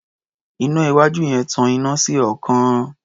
Iná iwájú yẹn tan iná sí ọ̀ọ́kán.